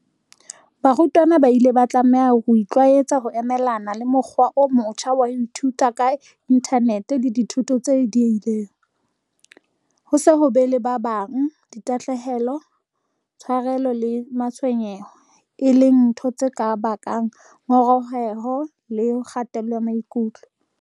Barutwana ba ile ba tlameha ho itlwaetsa ho emelana le mokgwa o motjha wa ho ithuta ka inthanete le dithuto tse diehileng, ho se be le ba bang, tahlehelo, tsharelo le matshwenyeho, e leng ntho tse ka bakang ngongoreho le kgatello ya maikutlo.